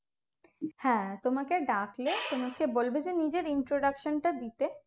হ্যাঁ তোমাকে ডাকলে তোমাকে বলবে যে নিজের introduction টা দিতে